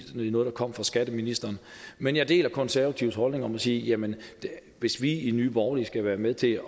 noget der kom fra skatteministeren men jeg deler konservatives holdning og må sige jamen hvis vi i nye borgerlige skal være med til